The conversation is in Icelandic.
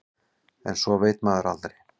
En svo veit maður aldrei.